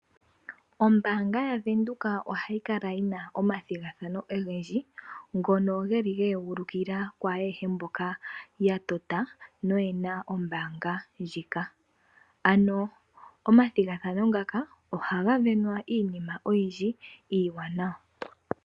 Ombaanga yavenduka ohayi kala yina omathigathano ogendji, ngono geli ge egulukila kwaayehe mboka yatota, noyena ombaanga ndjika. Ano omathigathano ngaka ohaga sindanwa iinima oyindji iiwananawa.